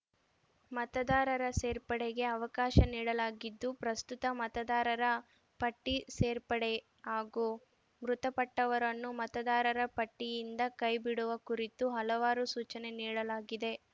ಮತದಾರರ ಸೇರ್ಪಡೆಗೆ ಅವಕಾಶ ನೀಡಲಾಗಿದ್ದು ಪ್ರಸ್ತುತ ಮತದಾರರ ಪಟ್ಟಿಸೇರ್ಪಡೆ ಹಾಗೂ ಮೃತಪಟ್ಟವರನ್ನು ಮತದಾರರ ಪಟ್ಟಿಯಿಂದ ಕೈ ಬಿಡುವ ಕುರಿತು ಹಲವಾರು ಸೂಚನೆ ನೀಡಲಾಗಿದೆ